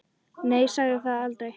Nei, ég sagði það aldrei.